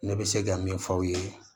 Ne bɛ se ka min f'aw ye